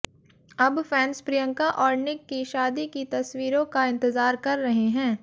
अब फैन्स प्रियंका और निक की शादी की तस्वीरों का इंतजार कर रहे हैं